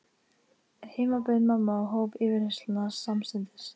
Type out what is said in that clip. Heima beið mamma og hóf yfirheyrsluna samstundis.